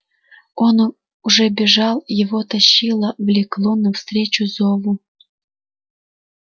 он уже бежал его тащило влекло навстречу зову